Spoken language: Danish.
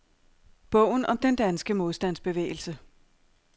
Bogen om den danske modstandsbevægelse.